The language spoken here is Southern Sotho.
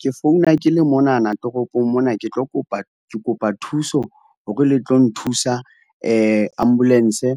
Ke founa ke le monana toropong mona ke tlo kopa, ke kopa thuso hore le tlo nthusa ambulance.